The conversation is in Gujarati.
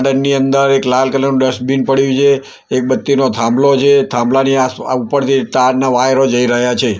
ગાર્ડન ની અંદર એક લાલ કલર નુ ડસ્ટબિન પડ્યુ છે એક બત્તીનો થાંભલો છે થાંભલાની આ ઉપરથી તારના વાયરો જઇ રહ્યા છે.